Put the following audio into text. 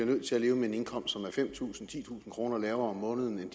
nødt til at leve med en indkomst der er fem tusind titusind kroner lavere om måneden end